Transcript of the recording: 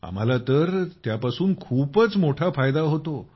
आम्हाला तर त्यापासून खूपच मोठा फायदा होतो